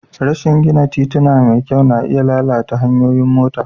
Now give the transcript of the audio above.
Rashi gina tituna da kyau ka iya lalata tayoyin mota.